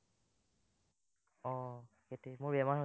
আহ সেইটোৱেই মোৰ বেমাৰ হৈছিল